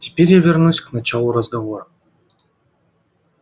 теперь я вернусь к началу разговора